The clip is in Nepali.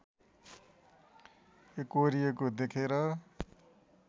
एकोहोरिएको देखेर